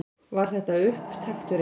Var þetta upptakturinn?